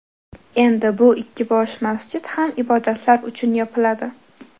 Endi bu ikki bosh masjid ham ibodatlar uchun yopiladi.